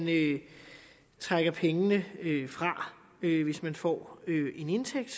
trækker pengene fra hvis man får en indtægt